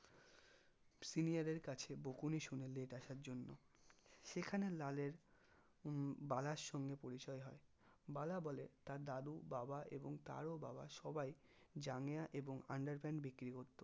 senior এর কাছে বকুনি শুনে late আসার জন্য সেখানে লালের উহ বালার সঙ্গে পরিচয় হয় বালা বলে তার দাদু বাবা এবং তারও বাবা সবাই জাঙ্গিয়া এবং underpant বিক্রি করতো